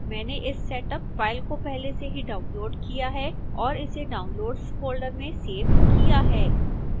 मैंने इस setup file को पहले से ही डाउनलोड़ किया है और इसे downloads folder में सेव किया है